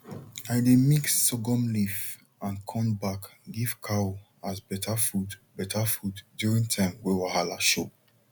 i dey mix sorghum leaf and corn back give cow as better food better food during time way wahala show